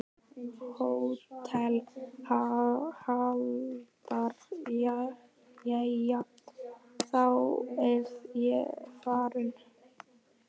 HÓTELHALDARI: Jæja, þá er ég farinn.